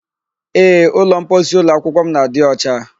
Ee, ụlọmposi ụlọakwụkwọ m na-adị ọcha.